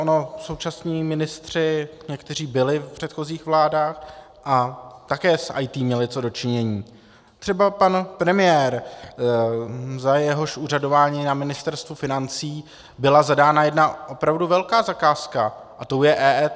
Ono současní ministři, kteří byli v předchozích vládách a také s IT měli co do činění, třeba pan premiér, za jehož úřadování na Ministerstvu financí byla zadána jedna opravdu velká zakázka, a tou je EET.